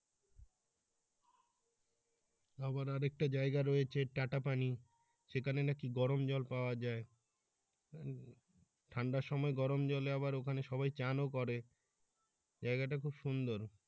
আবার আর একটা জায়গা রয়েছে টাটা পানি সেখানে নাকি গরম জল পাওয়া যায় ঠান্ডার সময় গরম জলে আবার ওখানে সবাই চা নাস্তাও করে জায়গা টা খুব সুন্দর।